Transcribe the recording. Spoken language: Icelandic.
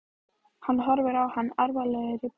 Hann horfir á hana alvarlegur í bragði.